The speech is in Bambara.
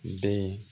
Bɛ